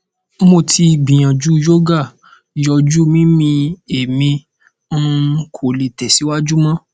mo ti gbiyanju yoga yọju mimi emi um ko le tẹsiwaju mọ